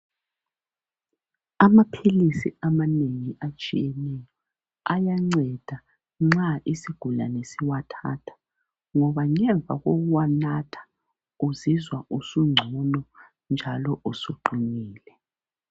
Amaphilisi amanengi atshiyeneyo ayanceda nxa isigulane siwathatha ngoba ngemva kokuwanatha uzizwa usungcono njalo usuqinile.